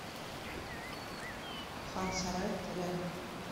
хан сарай рядом